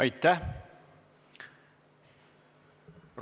Aitäh!